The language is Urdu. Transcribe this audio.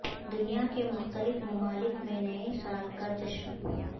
دنیا کے مختلف ممالک میں نئے سال کا جشن